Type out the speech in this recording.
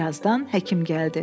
Bir azdan həkim gəldi.